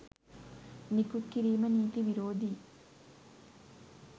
නිකුත් කිරීම නිතී විරෝධීයි.